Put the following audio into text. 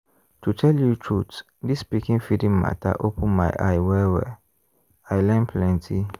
to tell you truth this pikin feeding matter open my eye well-well i learn plenty.